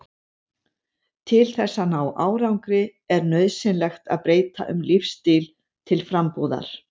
Til þess að ná árangri er nauðsynlegt að breyta um lífsstíl til frambúðar.